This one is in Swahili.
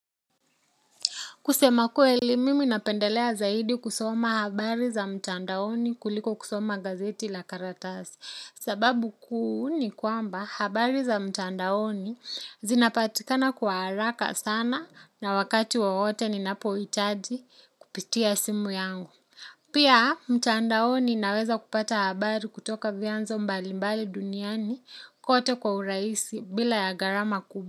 Kusema kweli mimi napendelea zaidi kusoma habari za mtandaoni kuliko kusoma gazeti la karatasi. Sababu kuu ni kwamba habari za mtandaoni zinapatikana kwa haraka sana na wakati wowote ninapohitaji kupitia simu yangu. Pia mtandaoni naweza kupata habari kutoka vianzo mbalimbali duniani kwote kwa urahisi bila ya gharama kubwa.